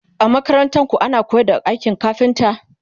a makarantarku ana koyar da aikin kafinta?